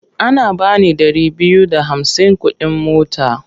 Ana ba ni ɗari biyu da hamsin kuɗin mota.